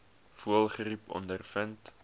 voëlgriep ondervind